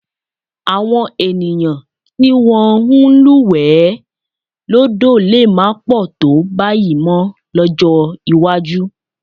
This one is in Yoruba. Àwọn ènìyàn tí wọ́n ń lúwẹ̀ẹ́ lódò lè má pọ̀ tó báyìí mọ́ lọ́jọ́ iwájú